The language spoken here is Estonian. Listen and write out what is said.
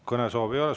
Kõnesoove ei ole.